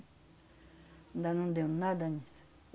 Ainda não deu nada disso.